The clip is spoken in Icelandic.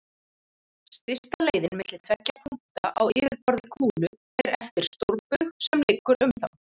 Stysta leiðin milli tveggja punkta á yfirborði kúlu er eftir stórbaug sem liggur um þá.